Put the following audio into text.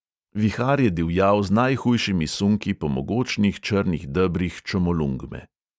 Vihar je divjal z najhujšimi sunki po mogočnih črnih debrih čomolungme.